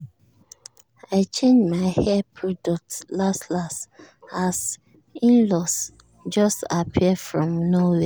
i change my hair product last-last as in-laws just appear from nowhere.